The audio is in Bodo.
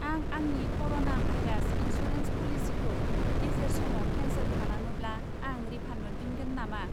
आं आंनि क'र'ना भाइरास इन्सुरेन्स पलिसिखौ गेजेर समाव केन्सेल खालामोब्ला आं रिफान्ड मोनफिनगोन नामा?